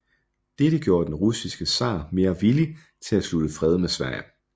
Dette gjorde den russiske zar mere villig til at slutte fred med Sverige